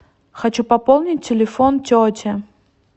хочу пополнить телефон тети